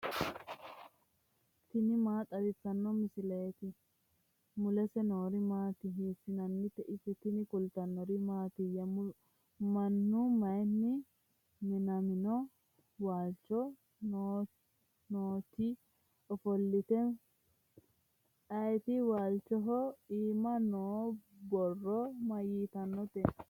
tini maa xawissanno misileeti ? mulese noori maati ? hiissinannite ise ? tini kultannori mattiya? minu mayiinni minamino? walichoho nootti offolitte ayiitti? Walichoho iimma noo borro mayiittanotte?